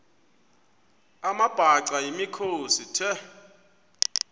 amabhaca yimikhosi the